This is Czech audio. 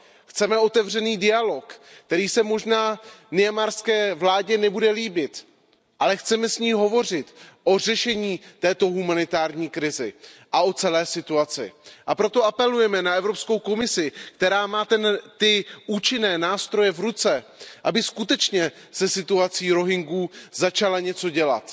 Chceme otevřený dialog, který se možná myanmarské vládě nebude líbit, ale chceme s ní hovořit o řešení této humanitární krize a o celé situaci, a proto apelujeme na Evropskou komisi, která má ty účinné nástroje v ruce, aby skutečně se situací Rohingyů začala něco dělat.